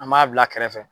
An b'a bila kɛrɛfɛ